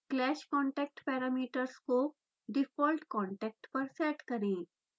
clash/contact parameters को defaultकांटेक्ट पर सेट करें